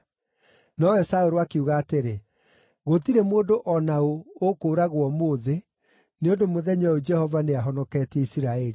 Nowe Saũlũ akiuga atĩrĩ, “Gũtirĩ mũndũ o na ũũ ũkũũragwo ũmũthĩ, nĩ ũndũ mũthenya ũyũ Jehova nĩahonoketie Isiraeli.”